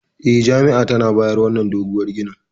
E, jami'a tana bayan wannan doguwar ginin.